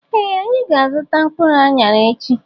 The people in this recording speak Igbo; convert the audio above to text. Ee anyị ga -azuta mkpụrụ anyara echi.